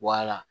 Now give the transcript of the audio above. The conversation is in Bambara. Wala